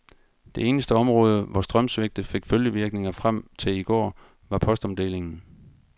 Det eneste område, hvor strømsvigtet fik følgevirkninger frem til i går, var postomdelingen.